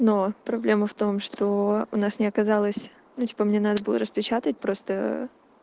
но проблема в том что у нас не оказалось ну типа мне надо было распечатать просто